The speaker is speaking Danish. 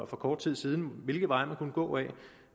for kort tid siden hvilke veje man kunne gå